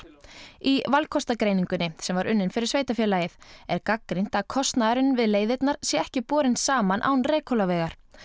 í valkostagreiningunni sem var unnin fyrir sveitarfélagið er gagnrýnt að kostnaður við leiðirnar sé ekki borinn saman án Reykhólavegar